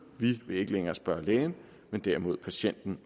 vi vil ikke længere spørge lægen men derimod patienten